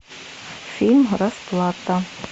фильм расплата